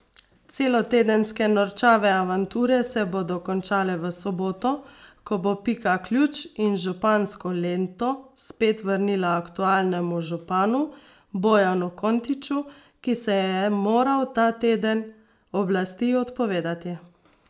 Celotedenske norčave avanture se bodo končale v soboto, ko bo Pika ključ in župansko lento spet vrnila aktualnemu županu Bojanu Kontiču, ki se je moral ta teden oblasti odpovedati.